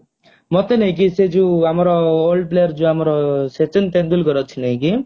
ମତେ ନାଇଁ କି ସେ ଯୋଉ ଆମର old player ଯଉ ଆମର ସଚିନ ତେନ୍ଦୁଲକର ଅଛି ନାଇଁ କି